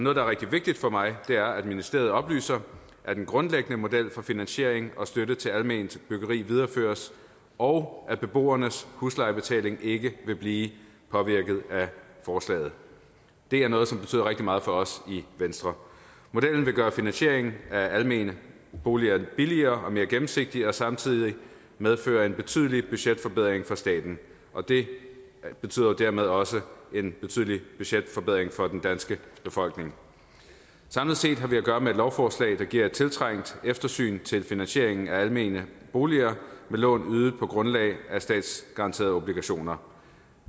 er rigtig vigtigt for mig er at ministeriet oplyser at den grundlæggende model for finansiering og støtte til alment byggeri videreføres og at beboernes huslejebetaling ikke vil blive påvirket af forslaget det er noget som betyder rigtig meget for os i venstre modellen vil gøre finansieringen af almene boliger billigere og mere gennemsigtig og samtidig medføre en betydelig budgetforbedring for staten og det betyder jo dermed også en betydelig budgetforbedring for den danske befolkning samlet set har vi at gøre med et lovforslag der giver et tiltrængt eftersyn til finansieringen af almene boliger med lån ydet på grundlag af statsgaranterede obligationer